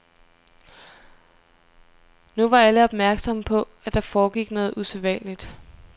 Nu var alle opmærksomme på, at der foregik noget usædvanligt.